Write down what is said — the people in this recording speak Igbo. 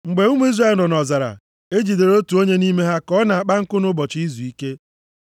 Mgbe ụmụ Izrel nọ nʼọzara, e jidere otu onye nʼime ha ka ọ na-akpa nkụ nʼụbọchị izuike.